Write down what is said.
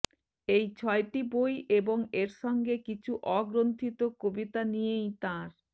এই ছয়টি বই এবং এর সঙ্গে কিছু অগ্রন্থিত কবিতা নিয়েই তাঁর